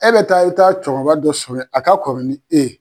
E bɛ taa e ta cɛkɔrɔba dɔ sɔrɔ ye a ka kɔrɔ ni e ye.